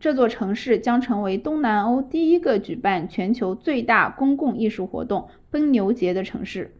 这座城市将成为东南欧第一个举办全球最大公共艺术活动奔牛节的城市